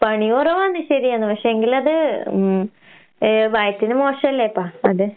പണി കൊറവാണ് ശരിയാണ്. പക്ഷേങ്കിലത് ഉം ഏഹ് വയറ്റിന് മോശാല്ലേപ്പാ അത്.